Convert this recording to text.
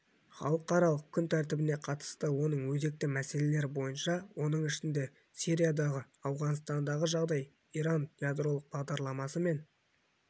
халықаралық күнтәртібіне қатысты оның өзекті мәселелері бойынша оның ішінде сириядағы ауғанстандағы жағдай иран ядролық бағдарламасы мен